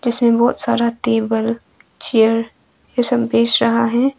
इसमें बहुत सारा टेबल चेयर ये सब बेच रहा है।